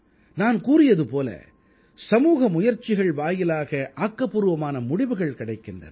நான் கூறியது போல சமூக முயற்சிகள் வாயிலாக ஆக்கப்பூர்வமான முடிவுகள் கிடைக்கின்றன